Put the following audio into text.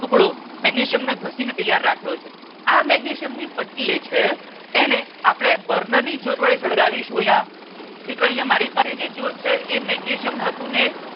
ટુકડો મેગ્નેશિયમ ને ઘસી ને તૈયાર રાખ્યો છે આ મેગ્નેશિયમ ની પટ્ટી એ છે એને આપણે બર્નર ની જ્યોત વડે સળગાવીશું અહિયાં મિત્રો અહિયાં મારી પાસે જે જ્યોત છે એ મેગ્નેશિયમ ધાતુ ને